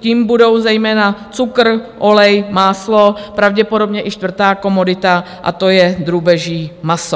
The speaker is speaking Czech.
těmi budou zejména cukr, olej, máslo, pravděpodobně i čtvrtá komodita, a to je drůbeží maso.